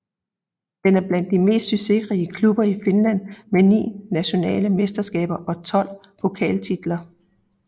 Den er blandt de mest succesrige klubber i Finland med ni nationale mesterskaber og 12 pokaltitler